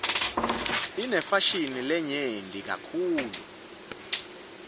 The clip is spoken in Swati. inefashini lenyenti kakitulu